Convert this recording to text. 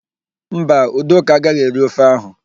Mba, Udoka agaghị eri ofe áhụ̀.